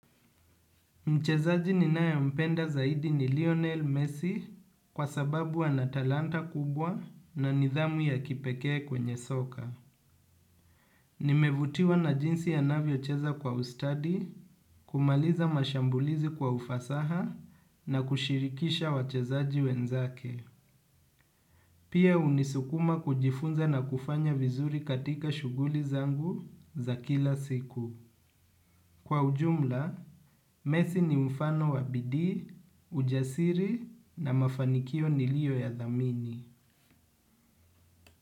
Mchezaji ninayempenda zaidi ni Lionel Messi kwa sababu ana talanta kubwa na nidhamu ya kipekee kwenye soka. Nimevutiwa na jinsi anavyocheza kwa ustadi kumaliza mashambulizi kwa ufasaha na kushirikisha wachezaji wenzake. Pia hunisukuma kujifunza na kufanya vizuri katika shughuli zangu za kila siku. Kwa ujumla, messi ni mfano wa bidii, ujasiri na mafanikio nilioyadhamini.